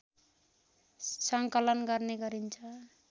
सङ्कलन गर्ने गरिन्छ